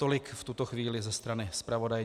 Tolik v tuto chvíli ze strany zpravodaje.